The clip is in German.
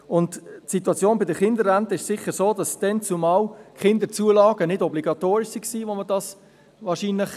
Die Situation der Kinderrenten hat sicher damit zu tun, dass die Kinderzulagen vormals nicht obligatorisch waren.